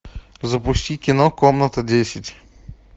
запусти кино комната десять